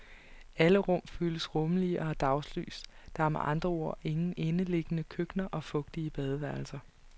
Alle rum føles rummelige og har daglys, der er med andre ord ingen indeliggende køkkener og fugtige badeværelser.